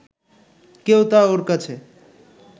কেউ তা ওর কাছে